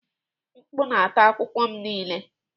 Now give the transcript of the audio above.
Mkpu na-ata akwụkwọ m niile.